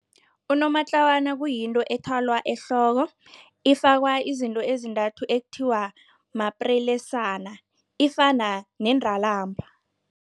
Unomatlawana kuyinto ethalwa ehloko, ifakwa izinto ezintathu ekuthiwa maprelesana, ifana nendalamba.